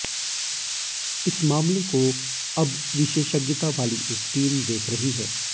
इस मामले को अब विशेषज्ञता वाली एक टीम देख रही है